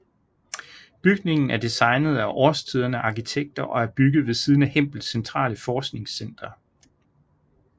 Bygningen er designet af Årstiderne Arkitekter og er bygget ved siden af Hempels centrale forskningscenter